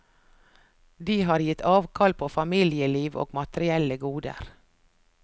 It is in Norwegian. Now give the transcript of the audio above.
De har gitt avkall på familieliv og materielle goder.